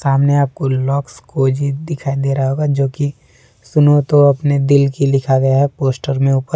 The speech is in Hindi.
सामने आपको लक्स कोजी दिखाई दे रहा होगा जो की सुनो तो अपने दिल की लिखा गया है पोस्टर में ऊपर।